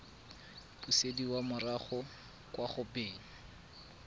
busediwa morago kwa go beng